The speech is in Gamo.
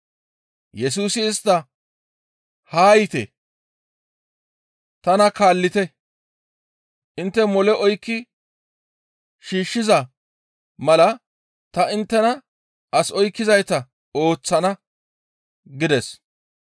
Yesusi istta, «Haa yiite! Tana kaallite; intte mole oykki shiishshiza mala ta inttena as oykkizayta ooththana» gides.